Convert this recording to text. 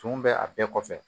Tumu bɛ a bɛɛ kɔfɛ